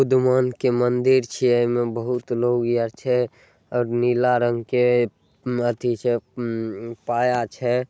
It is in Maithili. उद्यमोहन के मंदिर छीए। ऐमे बहुत लोग यार छै। नीला रंग के अथी छै पाया छै ।